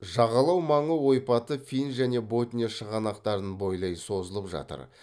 жағалау маңы ойпаты фин және ботния шығанақтарын бойлай созылып жатыр